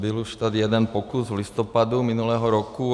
Byl už tady jeden pokus v listopadu minulého roku.